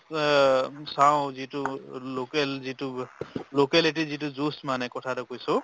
অ, চাওঁ যিটো local যিটো locality যিটো juice মানে কথা এটা কৈছো